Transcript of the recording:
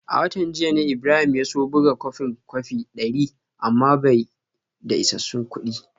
A watan jiya ne Ibrahim ya so buga kwafin kwafi dari amma bai da isassun kudi